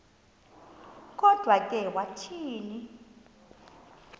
kodwa ke wathi